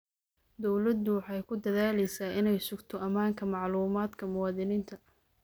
Dawladdu waxay ku dadaalaysaa inay sugto ammaanka macluumaadka muwaadiniinta.